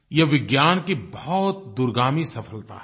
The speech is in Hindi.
ये विज्ञान की बहुत दूरगामी सफलता है